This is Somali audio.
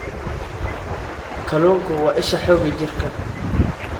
Kalluunku waa isha xoogga jirka.